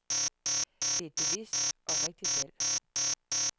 Det er et bevidst og rigtigt valg.